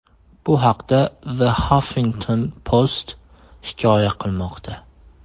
Bu haqda The Huffington Post hikoya qilmoqda .